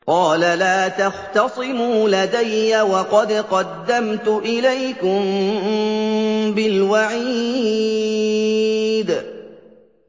قَالَ لَا تَخْتَصِمُوا لَدَيَّ وَقَدْ قَدَّمْتُ إِلَيْكُم بِالْوَعِيدِ